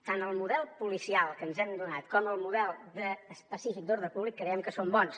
tant el model policial que ens hem donat com el model específic d’ordre públic creiem que són bons